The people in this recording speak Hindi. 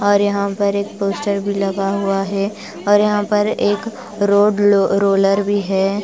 और यहाँ पर एक पोस्टर भी लगा हुआ है और यहाँ पर एक रोड लो रोलर भी है।